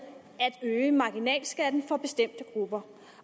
at øge marginalskatten for bestemte grupper